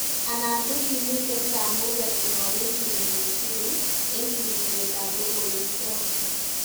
Anan go kimiten kamunget korarechin emet tukul en sirisiet ab logoiwek choton